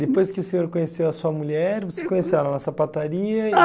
Depois que o senhor conheceu a sua mulher, você conheceu ela na sapataria?